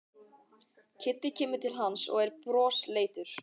Kiddi kemur til hans og er brosleitur.